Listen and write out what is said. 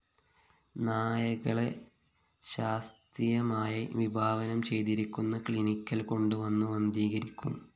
നായക്കളെ ശാസ്തീയമായി വിഭാവനം ചെയ്തിരിക്കുന്ന ക്ലീനിക്കില്‍ കൊണ്ട് വന്ന് വന്ധീകരിക്കും